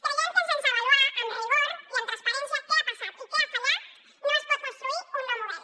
creiem que sense avaluar amb rigor i amb transparència què ha passat i què ha fallat no es pot construir un nou model